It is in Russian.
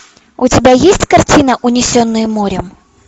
у тебя есть картина унесенные морем